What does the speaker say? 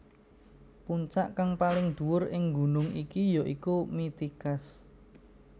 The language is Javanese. Puncak kang paling dhuwur ing gunung iki ya iku Mitikas